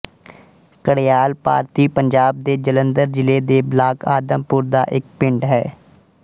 ਘੜਿਆਲ ਭਾਰਤੀ ਪੰਜਾਬ ਦੇ ਜਲੰਧਰ ਜ਼ਿਲ੍ਹੇ ਦੇ ਬਲਾਕ ਆਦਮਪੁਰ ਦਾ ਇੱਕ ਪਿੰਡ ਹੈ